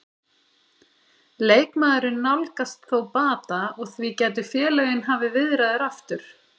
Leikmaðurinn nálgast þó bata og því gætu félögin hafið viðræður aftur.